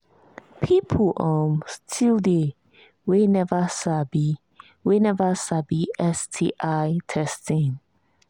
people um still they we never sabi we never sabi sti testing